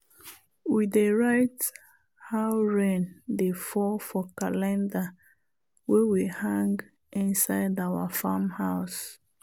we dey write how rain dey fall for calendar wey we hang inside our farm house.